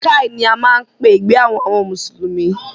Nikkah ni a máa ń pé ìgbéyàwó àwọn mùsùlùmí.